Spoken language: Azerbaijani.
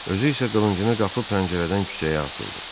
Özü isə qılıncını qapı pəncərədən küçəyə atdı.